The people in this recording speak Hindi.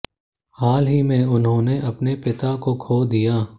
हाल में ही उन्होंने अपने पिता को खो दिया